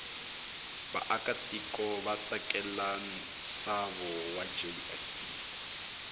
vaakatiko vatsakela nshavo wajse